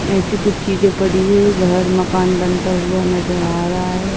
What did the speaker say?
ऐसी कुछ चीजे पड़ी हुई हैं। घर मकान बनता हुआ नजर आ रहा है।